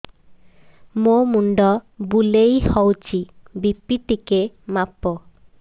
ମୋ ମୁଣ୍ଡ ବୁଲେଇ ହଉଚି ବି.ପି ଟିକେ ମାପ